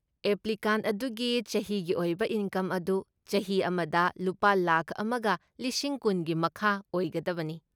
Applicant ꯑꯗꯨꯒꯤ ꯆꯍꯤꯒꯤ ꯑꯣꯏꯕ ꯏꯟꯀꯝ ꯑꯗꯨ ꯆꯍꯤ ꯑꯃꯗ ꯂꯨꯄꯥ ꯂꯥꯈ ꯑꯃꯒ ꯂꯤꯁꯤꯡ ꯀꯨꯟꯒꯤ ꯃꯈꯥ ꯑꯣꯏꯒꯗꯕꯅꯤ꯫